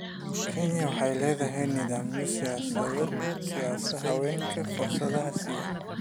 Kenya waxay leedahay nidaamyo siinaya haweenka fursadaha siyaasadda.